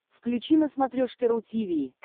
включи на смотрешке ру ти ви